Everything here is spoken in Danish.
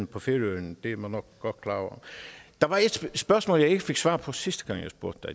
på færøerne det er man nok godt klar over der var et spørgsmål jeg ikke fik svar på sidste gang jeg spurgte